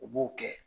U b'o kɛ